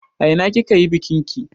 A ina kika yi bikin ki?